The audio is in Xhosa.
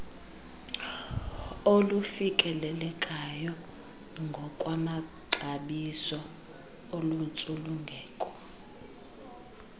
olufikelelekayo ngokwamaxabiso oluntsulungeko